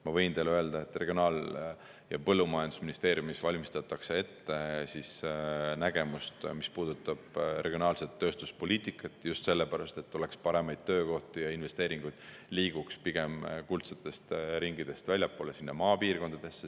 Ma võin teile öelda, et Regionaal‑ ja Põllumajandusministeeriumis valmistatakse ette nägemust, mis puudutab regionaalset tööstuspoliitikat – just sellepärast, et oleks paremaid töökohti ja investeeringud liiguks pigem kuldsetest ringidest väljapoole maapiirkondadesse.